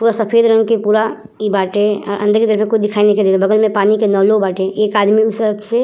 पूरा सफ़ेद रंग के पूरा इ बाटे। अ अंदर के तरफ में कुछ दिखाई नइखे देत। बगल में पानी के नलों बाटे। एक आदमी सबसे --